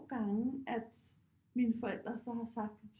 Gange at mine forældre så har sagt